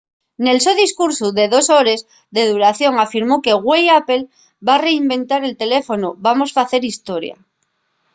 nel so discursu de dos hores de duración afirmó que güei apple va reinventar el teléfonu. vamos facer historia